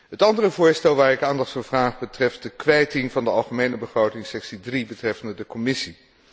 Het andere voorstel waarvoor ik aandacht vraag betreft de kwijting van de algemene begroting, afdeling 3 betreffende de Commissie.